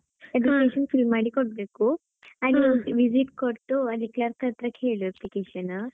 ಮಾಡಿ ಕೊಡ್ಬೇಕು ಹಾಗೆ visit ಕೊಟ್ಟು ಅಲ್ಲಿ clerk ಹತ್ರ ಕೇಳು application .